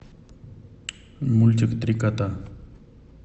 мультик три кота